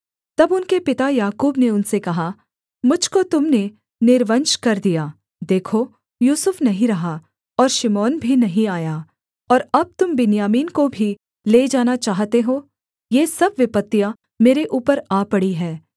तब उनके पिता याकूब ने उनसे कहा मुझ को तुम ने निर्वंश कर दिया देखो यूसुफ नहीं रहा और शिमोन भी नहीं आया और अब तुम बिन्यामीन को भी ले जाना चाहते हो ये सब विपत्तियाँ मेरे ऊपर आ पड़ी हैं